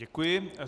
Děkuji.